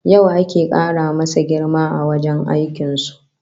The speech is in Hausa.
Yau ake kara masa girma a wajen aikin su